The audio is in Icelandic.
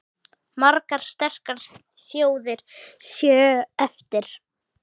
Margar sterkar þjóðir séu eftir.